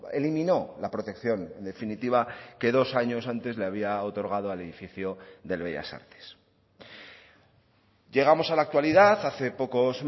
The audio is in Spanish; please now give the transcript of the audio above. elimino la protección definitiva que dos años antes le había otorgado al edificio del bellas artes llegamos a la actualidad hace pocos